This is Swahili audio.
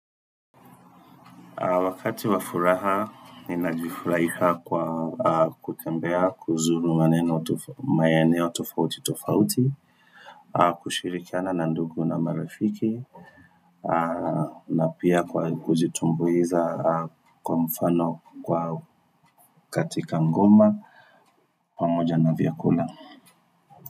Wakati wa furaha, ninajifurahia kwa kutembea kuzuru maeneo maeneo tofauti tofauti, kushirikiana na ndugu na marafiki, na pia kwa kujitumbuiza kwa mfano kwa katika ngoma, pamoja na vyakula.